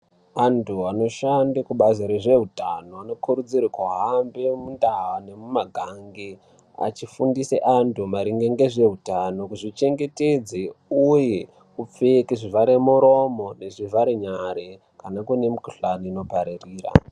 Antu anoshande kubazi rezve utano anokurudzirwa kuhambe mundau nemumiganga achifundisa antu maringe nezve utano, kuzvichengetedza uye kupfeke zvivhare muromo nezvivhara nyara pane kune mikhuhlani inopararira.